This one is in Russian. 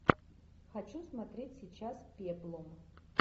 хочу смотреть сейчас пеплум